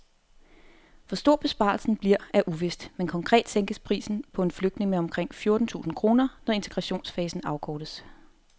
Hvor stor besparelsen bliver er uvist, men konkret sænkes prisen på en flygtning med omkring fjorten tusind kroner, når integrationsfasen afkortes.